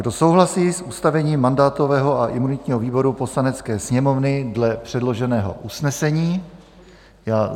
Kdo souhlasí s ustavením mandátového a imunitního výboru Poslanecké sněmovny dle předloženého usnesení?